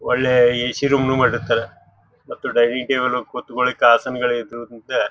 ಒಳ್ಳೆ AC. Room ನು ಮಾಡಿರ್ತಾರ ಮತ್ತು ಡೈನ್ನಿಂಗ್ ಟೇಬಲ್ ಕುತ್ತಕೊಳ್ಳಿಕ್ಕ ಆಸನಗಳು ಇದು ಇದ--